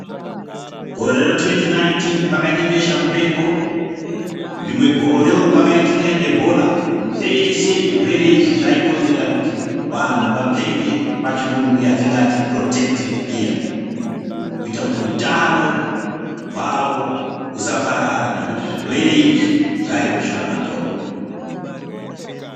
Gore ra2019 pakaite besha mupengo, rimwe gorewo kwakaitika ebhola zveshe zvirwere izvi zvaikonzera kuti vanhu vapfeke pachirungu yangatinoti Purotekitivhi giya kuita kuti utano hwavo usaparara nekuti zvirwere izvi zvaive shura matongo.